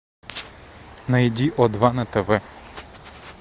найди о два на тв